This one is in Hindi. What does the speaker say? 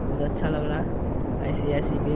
बहोत अच्छा लग रहा है। आइ.सी.आइ.सी. बैन --